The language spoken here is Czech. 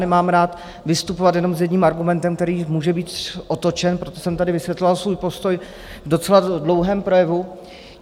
Nemám rád vystupovat jenom s jedním argumentem, který může být otočen, proto jsem tady vysvětloval svůj postoj v docela dlouhém projevu.